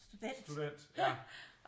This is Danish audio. Student ja